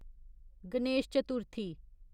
Ganesh Chaturthi